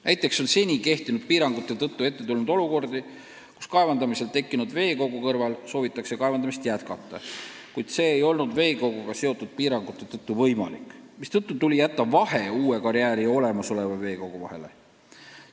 Näiteks on seni kehtinud piirangute tõttu ette tulnud olukordi, kus kaevandamisel tekkinud veekogu kõrval soovitakse kaevandamist jätkata, kuid see pole olnud veekoguga seotud piirangute tõttu võimalik, mistõttu on tulnud jätta vahe uue karjääri ja olemasoleva veekogu vahele.